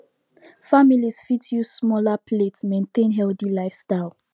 families fit use smaller plates maintain healthy lifestyle